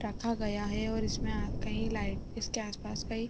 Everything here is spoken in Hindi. टाका गया है और इसमें अ कहीं लाइ इसके आस-पास कई --